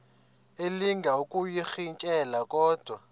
elinga ukuyirintyela kodwa